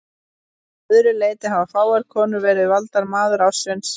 Að öðru leyti hafa fáar konur verið valdar maður ársins.